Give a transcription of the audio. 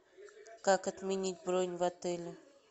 как отменить бронь в отеле